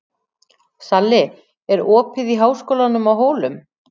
Salli, er opið í Háskólanum á Hólum?